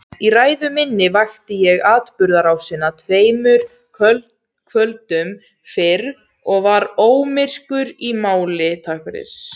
Í ræðu minni rakti ég atburðarásina tveimur kvöldum fyrr og var ómyrkur í máli.